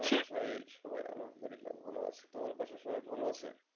আলহামদুলিল্লাহ সবাই ভালো আছে তোমার বাসায় সবাই ভালো আছে?